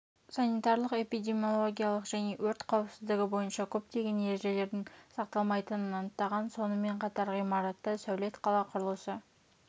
санитарлық-эпидемиялогиялық және өрт қауіпсіздігі бойынша көптеген ережелердің сақталмайтынын анықтаған соынмен қатар ғимаратта сәулет қала құрылысы